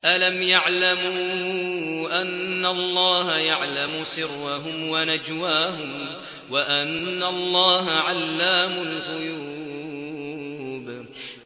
أَلَمْ يَعْلَمُوا أَنَّ اللَّهَ يَعْلَمُ سِرَّهُمْ وَنَجْوَاهُمْ وَأَنَّ اللَّهَ عَلَّامُ الْغُيُوبِ